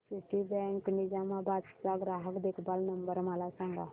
Citibank Nizamabad चा ग्राहक देखभाल नंबर मला सांगा